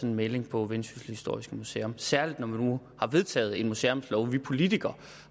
en melding på vendsyssel historiske museum særligt når man nu har vedtaget en museumslov og vi politikere